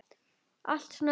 Allt þetta hottar á.